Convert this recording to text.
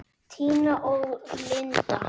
Tina og Linda.